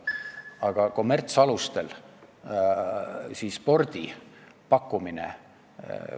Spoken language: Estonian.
Aga kommertsalustel spordi pakkumine ...